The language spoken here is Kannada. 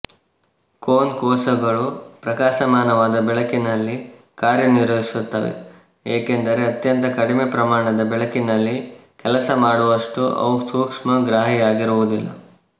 ಕೋನ್ ಕೋಶಗಳು ಪ್ರಕಾಶಮಾನವಾದ ಬೆಳಕಿನಲ್ಲಿ ಕಾರ್ಯನಿರ್ವಹಿಸುತ್ತವೆ ಏಕೆಂದರೆ ಅತ್ಯಂತ ಕಡಿಮೆ ಪ್ರಮಾಣದ ಬೆಳಕಿನಲ್ಲಿ ಕೆಲಸ ಮಾಡುವಷ್ಟು ಅವು ಸೂಕ್ಷ್ಮಗ್ರಾಹಿಯಾಗಿರುವುದಿಲ್ಲ